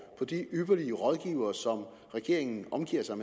på de ypperlige rådgivere som regeringen omgiver sig